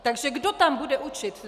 Takže kdo tam bude učit?